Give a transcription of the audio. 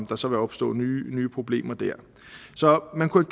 der så vil opstå nye problemer der så man kunne